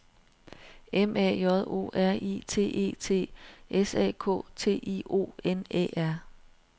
M A J O R I T E T S A K T I O N Æ R